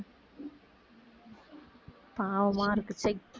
பாவமா இருக்கு ச்சை